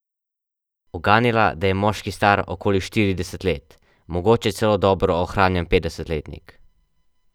Uganila, da je moški star okoli štirideset let, mogoče celo dobro ohranjen petdesetletnik.